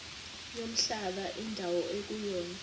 nomhlaba indawo ekuyona